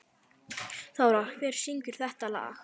Þórar, hver syngur þetta lag?